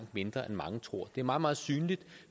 mindre end mange tror det er meget meget synligt